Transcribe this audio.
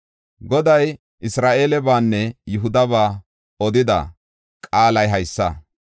Goday Isra7eelebanne Yihudaba odida qaalay haysa.